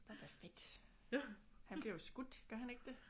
Boba Fett. Han bliver jo skudt gør han ikke det?